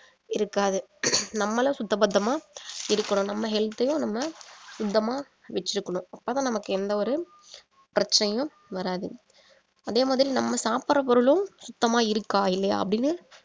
இருக்காது நம்மளும் சுத்த பத்தமா இருக்கணும் நம்ம health யும் நம்ம சுத்தமா வெச்சிருக்கணும் அப்பதான் நமக்கு எந்த ஒரு பிரச்சனையும் வராது அதே மாதிரி நம்ம சாப்பிடுற பொருளும் சுத்தமா இருக்கா இல்லையா அப்படின்னு